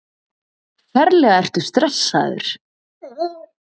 Ferlega ertu stressaður!